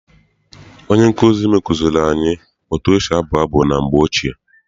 Onye nkụzi m kụziere anyị etu esi abụ abụ na mgbe ochie.